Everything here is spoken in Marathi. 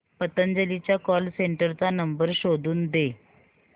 पतंजली च्या कॉल सेंटर चा नंबर शोधून दे